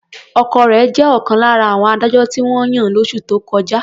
Ọkọ rẹ̀ jẹ́ ọ̀kan lára àwọn adájọ́ tí wọ́n yàn lóṣù tó kọjá.